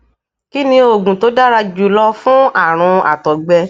kí ni oògùn tó dára jù lọ fún àrùn àtògbẹ